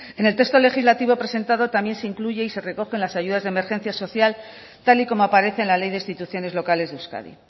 en el texto legislativo presentado también se incluyen y se recogen las ayudas de emergencia social tal y como aparece en la ley de instituciones locales de euskadi